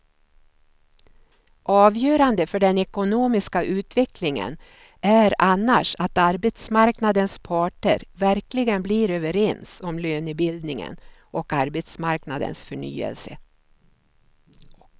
Avgörande för den ekonomiska utvecklingen är annars att arbetsmarknadens parter verkligen blir överens om lönebildningen och arbetsmarknadens förnyelse.